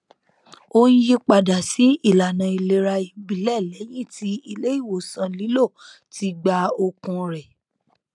ó n yí padà sí ìlànà ìlera ìbílẹ lẹyìn tí ilé ìwòsàn lílọ ti gba okun rẹ